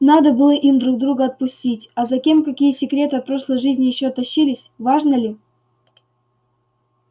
надо было им друг друга отпустить а за кем какие секреты от прошлой жизни ещё тащились важно ли